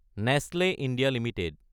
Nestle India Ltd